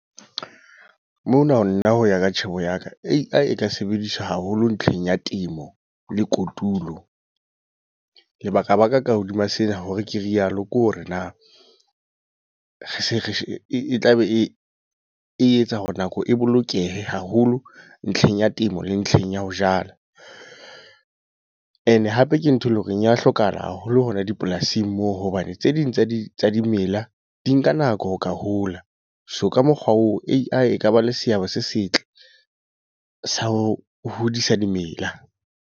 Mona ho nna hoya ka tjhebo ya ka. A_I e ka sebediswa haholo ntlheng ya temo, le kotulo. Lebaka baka ka hodima sena hore ke re yalo, ke hore na, re se re e tlabe e etsa hore nako e bolokehe haholo ntlheng ya temo le ntlheng ya ho jala. E ne hape ke ntho e leng hore ya hlokahala haholo hona dipolasing moo, hobane tse ding tsa di tsa dimela di nka nako ho ka hola. So ka mokgwa oo A_I e ka ba le seabo se setle sa ho hodisa dimela